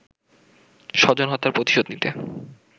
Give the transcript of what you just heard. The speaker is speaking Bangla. স্বজন হত্যার প্রতিশোধ নিতে